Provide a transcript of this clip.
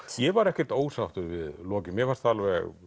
ég var ekkert ósáttur við lokin mér fannst það